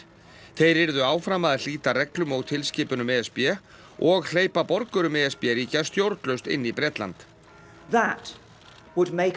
þeir yrðu áfram að hlíta reglum og tilskipunum e s b og hleypa borgurum e s b ríkja stjórnlaust inn í Bretland